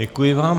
Děkuji vám.